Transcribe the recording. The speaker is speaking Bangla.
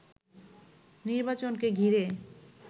নির্বাচনকে ঘিরে